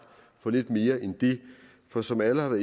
for lidt mere end det for som alle har